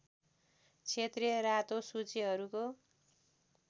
क्षेत्रीय रातो सूचीहरूको